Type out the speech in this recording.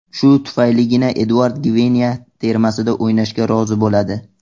Shu tufayligina Eduard Gvineya termasida o‘ynashga rozi bo‘ladi.